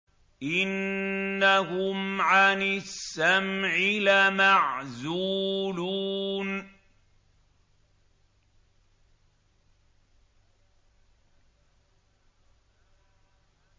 إِنَّهُمْ عَنِ السَّمْعِ لَمَعْزُولُونَ